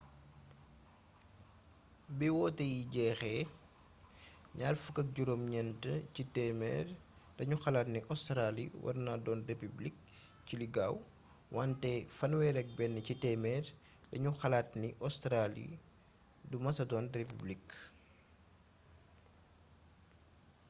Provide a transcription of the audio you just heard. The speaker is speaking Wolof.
bi wote yi jeexe 29 ci téémeer dañu xalaat ni óstraali warna doon republik ci li gaaw wanté 31 ci téemeer daañu xalaat ni óstraali du mesa doon republik